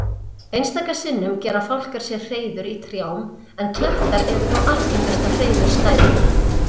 Einstaka sinnum gera fálkar sér hreiður í trjám en klettar eru þó algengasta hreiðurstæðið.